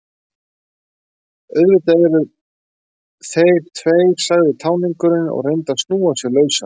Auðvitað eru þeir tveir, sagði táningurinn og reyndi að snúa sig lausan.